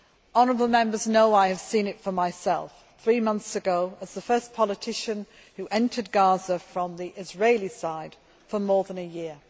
Honourable Members know I have seen it for myself three months ago, when I was the first politician to enter Gaza from the Israeli side for more than a year.